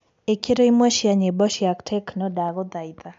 ĩkĩraĩmwe cĩa nyĩmbo cĩa techno tafadhalĩ